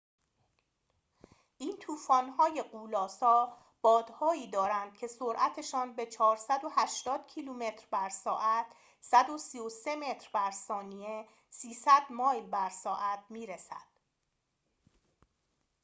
این طوفان‌های غول‌آسا بادهایی دارند که سرعتشان به 480 کیلومتر بر ساعت 133 متر بر ثانیه؛ 300 مایل بر ساعت می‌رسد